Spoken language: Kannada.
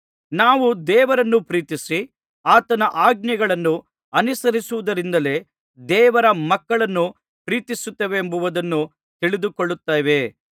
ನಾವು ದೇವರನ್ನು ಪ್ರೀತಿಸಿ ಆತನ ಆಜ್ಞೆಗಳನ್ನು ಅನುಸರಿಸುವುದರಿಂದಲೇ ದೇವರ ಮಕ್ಕಳನ್ನು ಪ್ರೀತಿಸುತ್ತೇವೆಂಬುದನ್ನು ತಿಳಿದುಕೊಳ್ಳುತ್ತೇವೆ